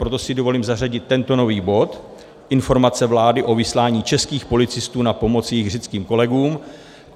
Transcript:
Proto si dovolím zařadit tento nový bod: Informace vlády o vyslání českých policistů na pomoc jejich řeckým kolegům.